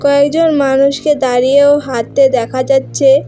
কয়েকজন মানুষকে দাঁড়িয়ে ও হাঁটতে দেখা যাচ্ছে।